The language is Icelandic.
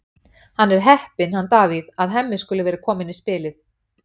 Hann er heppinn, hann Davíð, að Hemmi skuli vera kominn í spilið.